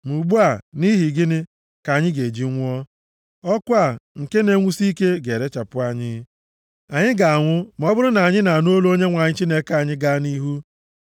Ma ugbu a nʼihi gịnị ka anyị ga-eji nwụọ? Ọkụ a, nke na-enwusi ike ga-erechapụ anyị. Anyị ga-anwụ ma ọ bụrụ na anyị anụ olu Onyenwe anyị Chineke anyị gaa nʼihu.